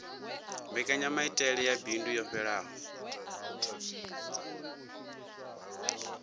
mbekanyamaitele ya bindu yo fhelelaho